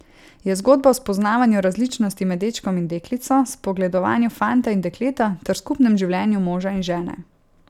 Je zgodba o spoznavanju različnosti med dečkom in deklico, spogledovanju fanta in dekleta ter skupnem življenju moža in žene.